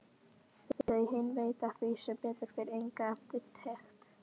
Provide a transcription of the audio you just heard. Þau hin veita því sem betur fer enga eftirtekt.